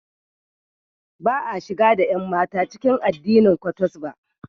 Ba a shigar da ƴanmata cikin addinin Kwottos ba.